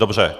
Dobře.